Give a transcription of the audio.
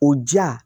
O diya